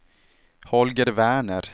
Holger Werner